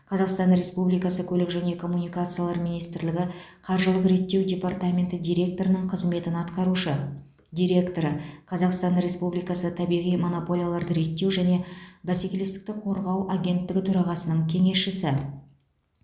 қазақстан республикасы көлік және коммуникациялар министрлігі қаржылық реттеу департаменті директорының қызметін атқарушы директоры қазақстан республикасы табиғи монополияларды реттеу және бәскелестікті қорғау агенттігі төрағасының кеңесшісі